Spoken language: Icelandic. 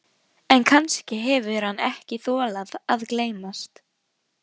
En kannski hefur hann ekki þolað að geymast.